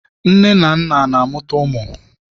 Nne na nna na-amụta ụmụ